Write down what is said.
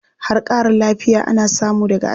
Har ƙarin lafiya ana samu daga aski.